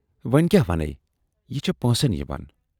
""وۅنۍ کیاہ وَنے یہِ چھے پٲنسن یِوان۔